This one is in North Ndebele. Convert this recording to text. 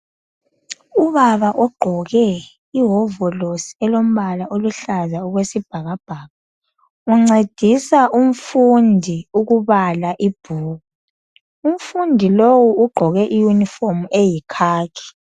Ubaba ogqoke ihovolosi elombala oluhlaza okwesibhakabhaka uncedisa umfundi ukubala ibhuku , umfundi lowu ugqoke I uniform eyi khakhi